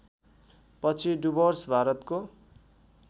पछि डुवर्स भारतको